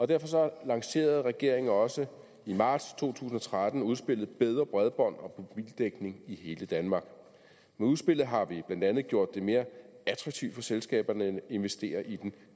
derfor lancerede regeringen også i marts to tusind og tretten udspillet bedre bredbånd og mobildækning i hele danmark med udspillet har vi blandt andet gjort det mere attraktivt for selskaberne at investere i den